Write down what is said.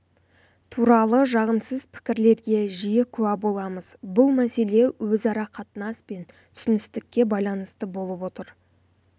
туралы жағымсыз пікірлерге жиі куә боламыз бұл мәселе өзара қатынас пен түсіністікке байланысты болып отыр